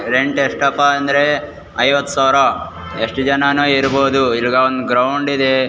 Rent ಎಷ್ಟಪ್ಪ ಅಂದ್ರೆ ಐವತ್ತ್ ಸಾವಿರ ಎಷ್ಟು ಜನಾನು ಇರಬಹ್ದು ಇಲ್ಲಿ ಒಂದು ಗ್ರೌಂಡ್ ಇದೆ.